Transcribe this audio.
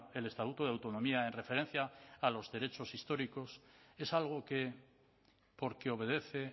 el estatuto de autonomía en referencia a los derechos históricos es algo que porque obedece